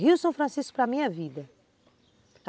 Rio São Francisco para mim é vida.